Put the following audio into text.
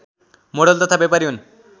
model तथा ब्यापारी हुन्